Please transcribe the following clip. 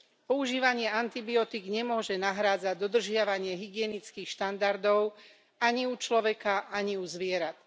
Používanie antibiotík nemôže nahrádzať dodržiavanie hygienických štandardov ani u človeka ani u zvierat.